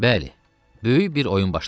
Bəli, böyük bir oyun başlanırdı.